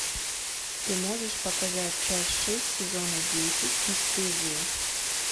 ты можешь показать часть шесть сезона десять бесстыжие